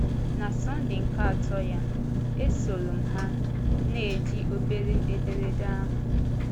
Na Sunday nke atọ ya, esòrọ m ha, na-eji obere ederede ahụ.